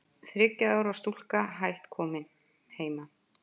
Þriggja ára stúlka hætt komin heima